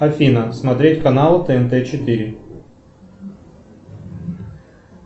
афина смотреть канал тнт четыре